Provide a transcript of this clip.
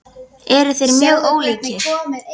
Eru þeir mjög ólíkir?